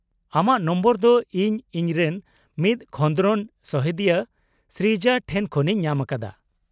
-ᱟᱢᱟᱜ ᱱᱚᱢᱵᱚᱨ ᱫᱚ ᱤᱧ ᱤᱧᱨᱮᱱ ᱢᱤᱫ ᱠᱷᱚᱸᱫᱨᱚᱱ ᱥᱚᱦᱮᱫᱤᱭᱟᱹ ᱥᱨᱤᱡᱟ ᱴᱷᱮᱱ ᱠᱷᱚᱱᱤᱧ ᱧᱟᱢᱟᱠᱟᱫᱟ ᱾